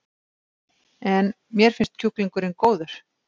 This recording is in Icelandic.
En: Mér finnst kjúklingurinn góður?